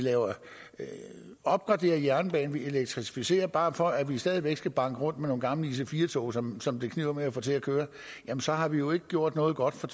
opgraderer jernbanen hvis vi elektrificerer bare for at vi stadig væk skal banke rundt med nogle gamle ic4 tog som som det kniber med at få til at køre jamen så har vi jo ikke gjort noget godt for